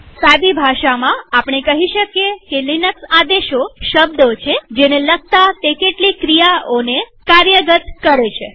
સાદી ભાષામાં આપણે કહી શકીએ કે લિનક્સ આદેશો શબ્દો છેજેને લખતા તે કેટલીક ક્રિયાઓને કાર્યગત કરે છે